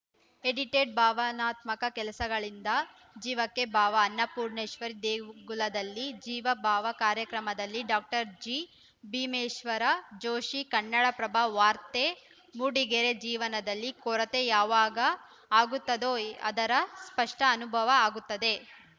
edited ಭಾವನಾತ್ಮಕ ಕೆಲಸಗಳಿಂದ ಜೀವಕ್ಕೆ ಭಾವ ಅನ್ನಪೂರ್ಣೇಶ್ವರಿ ದೇಗುಲದಲ್ಲಿ ಜೀವಭಾವ ಕಾರ್ಯಕ್ರಮದಲ್ಲಿ ಡಾಕ್ಟರ್ ಜಿಭೀಮೇಶ್ವರ ಜೋಷಿ ಕನ್ನಡಪ್ರಭ ವಾರ್ತೆ ಮೂಡಿಗೆರೆ ಜೀವನದಲ್ಲಿ ಕೊರತೆ ಯಾವಾಗ ಆಗುತ್ತದೋ ಅದರ ಸ್ಪಷ್ಟಅನುಭವ ಆಗುತ್ತದೆ